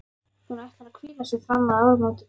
Hún ætlar að hvíla sig fram að áramótum.